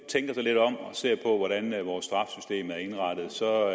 tænker sig lidt om og ser på hvordan vores straffesystem er indrettet så